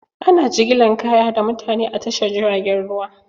Ana jigilan kaya da mutane a tashar jiragen ruwa.